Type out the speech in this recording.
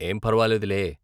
ఏం పర్వాలేదు లే.